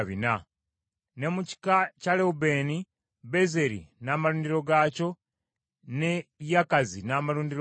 Ne mu kika kya Lewubeeni, Bezeri n’amalundiro gaakyo, ne Yakazi n’amalundiro gaakyo,